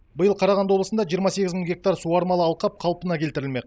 биыл қарағанды облысында жиырма сегіз мың гектар суармалы алқап қалпына келтірілмек